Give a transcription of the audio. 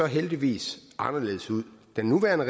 heldigvis anderledes ud den nuværende